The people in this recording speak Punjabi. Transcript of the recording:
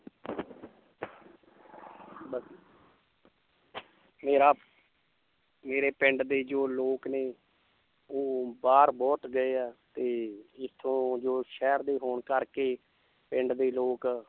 ਬਸ ਮੇਰਾ ਮੇਰੇ ਪਿੰਡ ਦੇ ਜੋ ਲੋਕ ਨੇ ਉਹ ਬਾਹਰ ਬਹੁਤ ਗਏ ਆ ਤੇ ਇੱਥੋਂ ਜੋ ਸ਼ਹਿਰ ਦੇ ਹੋਣ ਕਰਕੇ ਪਿੰਡ ਦੇ ਲੋਕ